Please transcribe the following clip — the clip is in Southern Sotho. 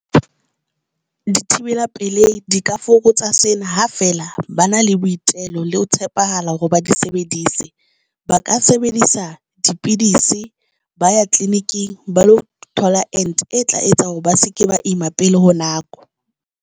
Dithibela pelei di ka fokotsa sena, ha fela ba na le boitelo le ho tshepahala hore ba di sebedise, ba ka sebedisa dipidisi ba ya tleliniki ba lo thola ente e tla etsa hore ba seke ba ima pele ho nako.